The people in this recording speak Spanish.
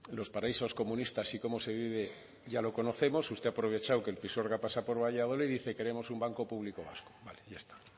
los paraísos comunistas y cómo se vive ya lo conocemos usted ha aprovechado que el pisuerga pasa por valladolid dice queremos un banco público vasco vale ya está